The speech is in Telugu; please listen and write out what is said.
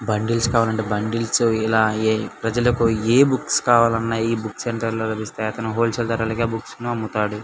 బండ్లెస్ కావాలంటే బండ్లెస్ ఇలా ప్రజలకి ఏ బుక్స్ కావాలంటే ఈ బుక్స్ సెంటర్ లో దొరుకుతాయి అతను హోల్సేల్ ధరలకే ఈ బుక్స్ అమ్ముతాడు .